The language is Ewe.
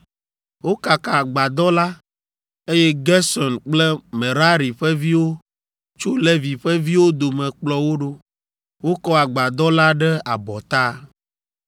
Wokaka Agbadɔ la, eye Gerson kple Merari ƒe viwo tso Levi ƒe viwo dome kplɔ wo ɖo. Wokɔ Agbadɔ la ɖe abɔta.